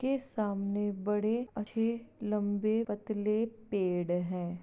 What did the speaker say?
के सामने बड़े अच्छे लंबे पतले पेड़ है।